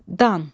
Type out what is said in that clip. Dan.